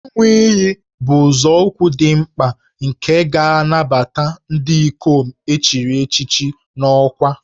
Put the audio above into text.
Ịṅụ iyi bụ nzọụkwụ dị mkpa nke ga-anabata ndị ikom e chiri echichi n'ọkwa